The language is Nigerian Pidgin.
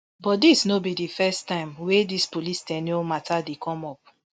but dis no be di first time wey dis police ten ure mata dem come up